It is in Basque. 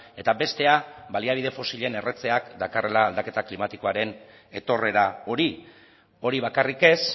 eta bestea baliabide fosilen erretzeak dakarrela aldaketa klimatikoaren etorrera hori hori bakarrik ez